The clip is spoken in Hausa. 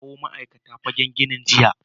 Na kawo ma’aikata guda biyar fagen ginin jiya.